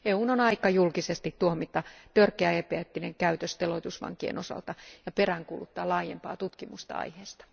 EUn on aika julkisesti tuomita törkeä epäeettinen käytös teloitusvankien osalta ja peräänkuuluttaa laajempaa tutkimusta aiheesta.